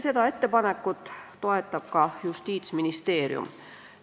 Seda ettepanekut toetab ka Justiitsministeerium.